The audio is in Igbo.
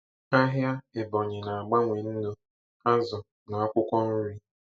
Ahịa Ebonyi na-agbanwe nnu, azụ, na akwụkwọ nri.